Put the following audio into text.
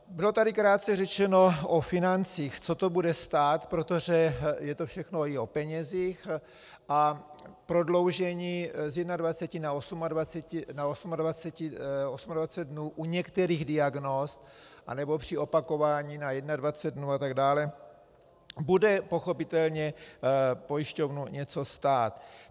Bylo tady krátce řečeno o financích, co to bude stát, protože je to všechno i o penězích, a prodloužení z 21 na 28 dnů u některých diagnóz anebo při opakování na 21 dnů atd. bude pochopitelně pojišťovnu něco stát.